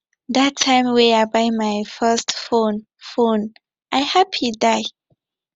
dat time wey i buy my first phone phone i happy die